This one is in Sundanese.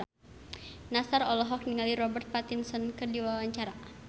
Nassar olohok ningali Robert Pattinson keur diwawancara